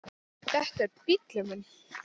Þetta er bíllinn minn